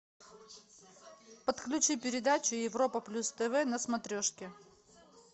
подключи передачу европа плюс тв на смотрешке